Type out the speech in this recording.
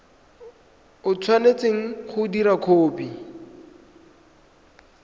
o tshwanetseng go dira kopo